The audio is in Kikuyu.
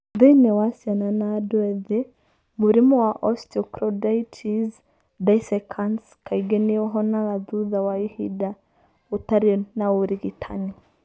Thĩinĩ wa ciana na andũ ethĩ, mũrimũ wa osteochondritis dissecans kaingĩ nĩ ũhonaga thutha wa ihinda ũtarĩ na ũrigitani.